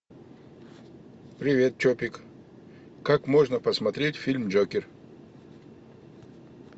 привет чопик как можно посмотреть фильм джокер